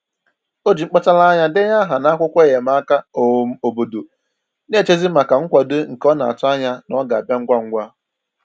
O ji mkpachara anya denye aha n'akwụkwọ enyemaka um obodo, na-echezi maka nkwado nke ọ na-atụ anya na ọ ga-abịa ngwa ngwa